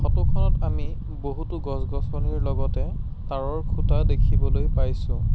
Photo খনত আমি বহুতো গছ-গছনিৰ লগতে টাৱাৰ ৰ খুঁটা দেখিবলৈ পাইছোঁ।